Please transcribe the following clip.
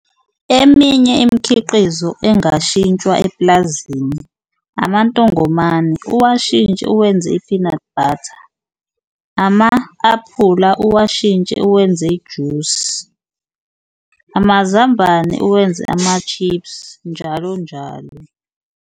Eminye imikhiqizo engashintshwa epulazini amantongomane, uwashintshe uwenze i-peanut butter, ama-aphula uwashintshe uwenze ijusi, amazambane uwenze ama-chips, njalo njalo.